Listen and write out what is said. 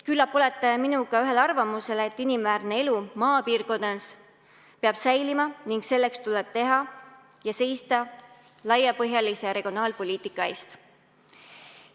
Küllap olete minuga ühel arvamusel, et inimväärne elu maapiirkonnas peab säilima ning selleks tuleb teha laiapõhjalist regionaalpoliitikat ja seista selle eest.